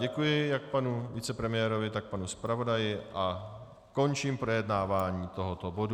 Děkuji jak panu vicepremiérovi, tak panu zpravodaji a končím projednávání tohoto bodu.